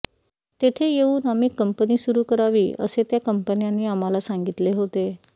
तेथे येऊन आम्ही कंपनी सुरु करावी असे त्या कंपन्यांनी आम्हाला सांगितले होते